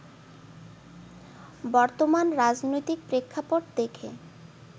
বর্তমান রাজনৈতিক প্রেক্ষাপট দেখে